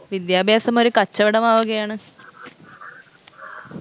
വിദ്യാഭ്യാസം ഒരു കച്ചവടമാവുകയാണ്